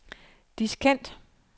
diskant